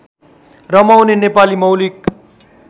रमाउने नेपाली मौलिक